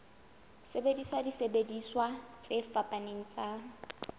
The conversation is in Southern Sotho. sebedisa disebediswa tse fapaneng tsa